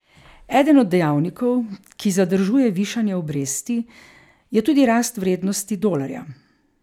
Eden od dejavnikov, ki zadržuje višanje obresti, je tudi rast vrednosti dolarja.